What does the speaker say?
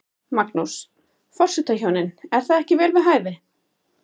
Magnús: Forsetahjónin, er það ekki vel við hæfi?